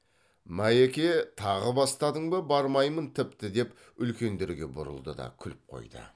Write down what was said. майеке тағы бастадың ба бармаймын тіпті деп үлкендерге бұрылды да күліп қойды